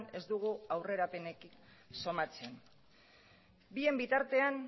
ez dugu aurrerapenik somatzen bien bitartean